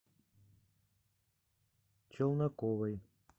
челноковой